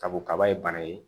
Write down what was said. Kabu kaba ye bana ye